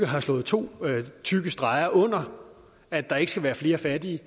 har slået to tykke streger under at der ikke skal være flere fattige